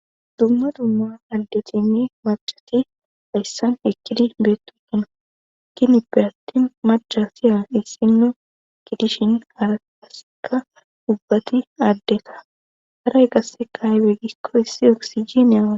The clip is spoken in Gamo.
Dumma dumma aldetini macati hayssan ekkidi beettu kena ikinipe atti macha siya issinno kidishin hara kaseka dubbati aaddeka haray qasse kaayweggikko issi oksijine.